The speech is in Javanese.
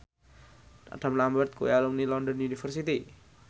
Adam Lambert kuwi alumni London University